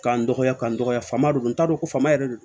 K'an dɔgɔya k'an dɔgɔya faama don n t'a dɔn f'a ma yɛrɛ de